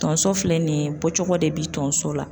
Tonso filɛ nin ye bɔcogo de bi tonso la